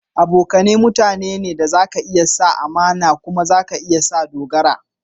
Abokane mutane da za ka iya sa amana ne kuma za ka iya sa dogara.